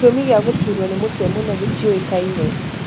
Gitumi gĩa gũturwo nĩ mũtwe mũno gĩtiũĩkaine